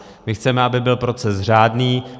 My chceme, aby byl proces řádný.